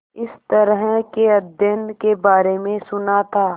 इस तरह के अध्ययन के बारे में सुना था